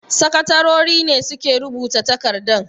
Sakatarori ne suke rubuta takardan.